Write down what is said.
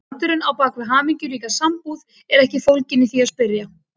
Galdurinn á bak við hamingjuríka sambúð er ekki fólginn í því að spyrja